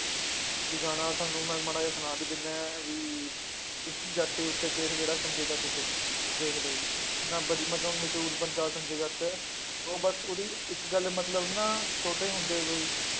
ਵੀ ਗਾਣਾ ਤੁਹਾਨੂੰ ਮੈਂ ਮਾੜਾ ਜਿਹਾ ਸੁਣਾ ਵੀ ਦਿਨਾ ਹਾਂ ਵੀ ਵੀ ਜੱਟ ਉੱਤੇ case ਜਿਹੜਾ ਸੰਜੇ ਦੱਤ ਤੇ, ਦੇਖ ਲਓ ਜੀ ਇੰਨਾ ਵਧੀ~ ਮੈਂ ਕਵਾਂ ਮਸ਼ਹੂਰ ਬੰਦਾ ਸੰਜੇ ਦੱਤ ਉਹ ਬਸ ਉਹਦੀ ਇੱਕ ਗੱਲ ਮਤਲਬ ਨਾ ਛੋਟੇ ਹੁੰਦੇ ਤੋਂ ਹੀ